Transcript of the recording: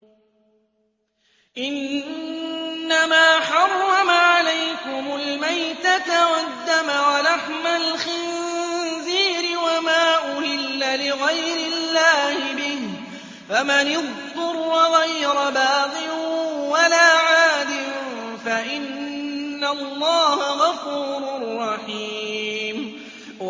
إِنَّمَا حَرَّمَ عَلَيْكُمُ الْمَيْتَةَ وَالدَّمَ وَلَحْمَ الْخِنزِيرِ وَمَا أُهِلَّ لِغَيْرِ اللَّهِ بِهِ ۖ فَمَنِ اضْطُرَّ غَيْرَ بَاغٍ وَلَا عَادٍ فَإِنَّ اللَّهَ غَفُورٌ رَّحِيمٌ